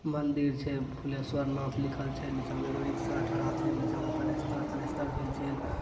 मंदिर छै फुलेश्वर नाथ लिखल छै नीचा में एगो रिक्शा ठड़ा छै नीचा में पलस्तर-व्लस्टर भेल छै।